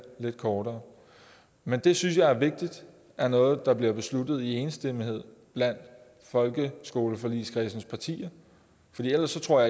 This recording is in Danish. lidt kortere men det synes jeg er vigtigt er noget der bliver besluttet i enstemmighed blandt folkeskoleforligskredsen partier for ellers tror